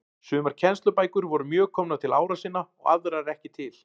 Sumar kennslubækur voru mjög komnar til ára sinna og aðrar ekki til.